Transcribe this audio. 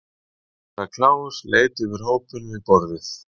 Herra Kláus leit yfir hópinn við borðið.